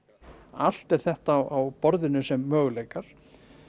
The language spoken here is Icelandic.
allt er þetta á borðinu sem möguleikar